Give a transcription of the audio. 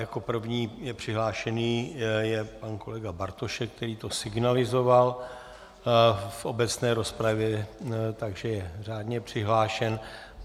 Jako první je přihlášený pan kolega Bartošek, který to signalizoval v obecné rozpravě, takže je řádně přihlášen.